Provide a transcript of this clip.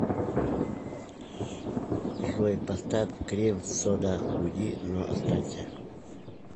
джой поставь крем сода уйди но останься